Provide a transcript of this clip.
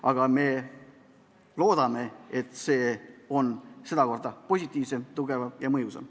Aga me loodame, et sedakorda on komisjoni töö positiivsem, tugevam ja mõjusam.